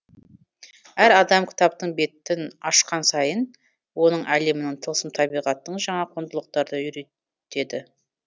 әр адам кітаптың беттін ашқан сайын оның әлемінің тылсым табиғаттың жаңа құндылықтарды үйретеді